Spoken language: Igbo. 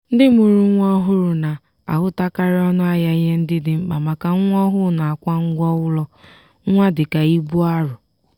ndị mụrụ nwa ọhụrụ na-ahụtakarị ọnụ ahịa ihe ndị dị mkpa maka nwa ọhụụ nakwa ngwa ụlọ nwa dika ibu arọ.